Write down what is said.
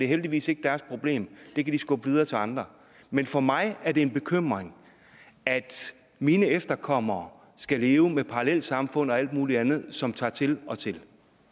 heldigvis ikke deres problem det kan de skubbe videre til andre men for mig er det en bekymring at mine efterkommere skal leve med parallelsamfund og alt muligt andet som tager til og til